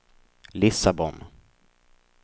Lissabon